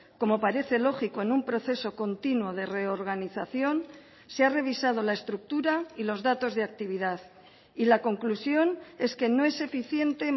como parece lógico en un proceso continuo de reorganización se ha revisado la estructura y los datos de actividad y la conclusión es que no es eficiente